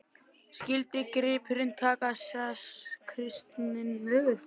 Skyldu gripirnir taka sess kristinna helgitákna.